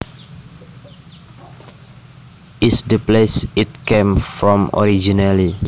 is the place it came from originally